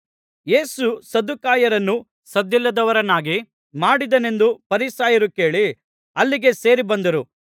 ಯೇಸು ಸದ್ದುಕಾಯರನ್ನು ಸದ್ದಿಲ್ಲದವರನ್ನಾಗಿ ಮಾಡಿದ್ದಾನೆಂದು ಫರಿಸಾಯರು ಕೇಳಿ ಅಲ್ಲಿಗೆ ಸೇರಿ ಬಂದರು